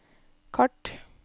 kart